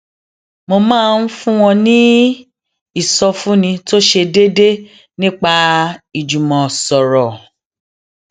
mo máa ń fún wọn ní ìsọfúnni tó ṣe déédéé nípa ìjùmọsọrọ